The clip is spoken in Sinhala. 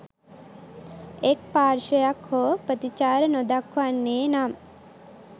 එක් පාර්ශවයක් හෝ ප්‍රතිචාර නොදක්වන්නේ නම්